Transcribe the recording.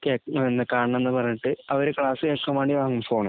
കേക്ക കാണണം എന്ന് പറഞ്ഞിട്ട് അവര് ക്ലാസ്സ്‌ കേക്കാന്‍ വേണ്ടി വങ്ങും ഫോണ്.